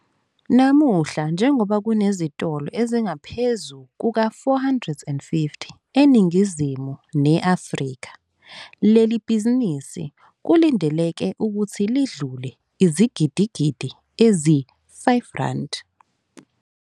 Namuhla, njengoba kunezitolo ezingaphezu kuka-450 eNingizimu ne-Afrika, leli bhizinisi kulindeleke ukuthi lidlule izigidigidi ezi-R5.